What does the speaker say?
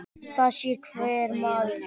Það sér það hver maður.